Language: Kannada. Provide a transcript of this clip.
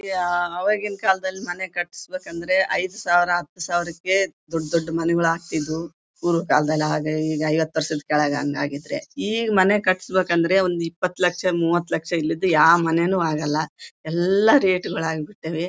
ಆವಾಗಿನ ಕಾಲದಲ್ಲಿ ಮನೆ ಕಟ್ಸಬೇಕಂದ್ರೆ ಐದು ಸಾವಿರ ಹತ್ತು ಸಾವಿರಕ್ಕೆ ದೊಡ್ಡ ಮನೆಗಳು ಆಗತ್ತಿದ್ದವು ಈಗಿನ ಕಾಲದಲ್ಲಿ ಹಾಗೆ ಹೀಗೆ ಐವತ್ತ ವರ್ಷದ್ ಕೆಳಗ್ ಹಂಗ್ ಆಗೈತ್ರಿ ಈಗ್ ಮನೆ ಕಟ್ಸಬೇಕಂದ್ರೆ ಒಂದ್ ಇಪತ್ ಲಕ್ಷ ಮೂವತ್ ಲಕ್ಷ ಇಲ್ಲದ್ದು ಯಾವ ಮನೇನು ಆಗಲ್ಲಾಎಲ್ಲಾ ರೇಟ್ ಗಳು ಆಗ್ಬಿಟ್ಟಿವೆ.